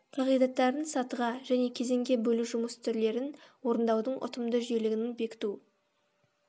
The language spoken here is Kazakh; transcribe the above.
қағидаттарын сатыға және кезеңге бөлу жұмыс түрлерін орындаудың ұтымды жүйелігін бекіту